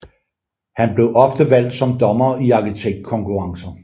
Han blev ofte valgt som dommer i arkitektkonkurrencer